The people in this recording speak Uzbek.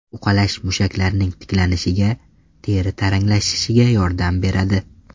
Uqalash mushaklarning tiklanishiga, teri taranglashishiga yordam beradi.